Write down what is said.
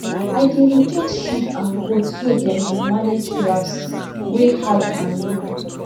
i dey rotate sheep and goat so dem go manage grass wey high and low